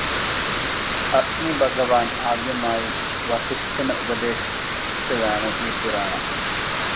അഗ്നിഭഗവാൻ ആദ്യമായി വസിഷ്ഠന് ഉപദേശിച്ചതാണ് ഈ പുരാണം.